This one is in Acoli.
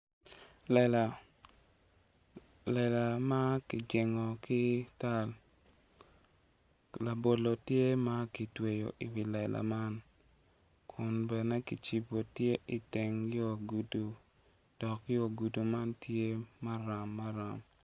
Lela ma kijengo ki tal labolo tye ma kitweyo iwi lela man kun bene kicibo tye iteng yo gudu dok yo gudu man tye maram maram